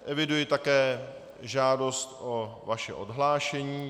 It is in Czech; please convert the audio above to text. Eviduji také žádost o vaše odhlášení.